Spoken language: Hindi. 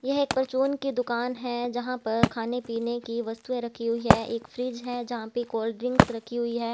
यह एक परचून की दुकान है जहाँ पर खाने पीने की वस्तुएं रखी हुई है एक फ्रिज है जहाँ पर कोल्ड ड्रिंक्स रखी हुई है।